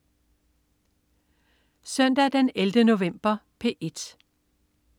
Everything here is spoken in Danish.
Søndag den 11. november - P1: